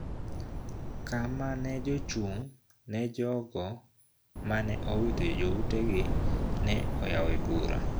Kama ne jochung` ne jogo ma ne owito joutegi ne oyawo bura